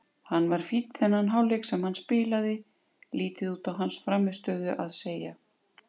Hann var fínn þennan hálfleik sem hann spilaði, lítið út á hans frammistöðu að segja.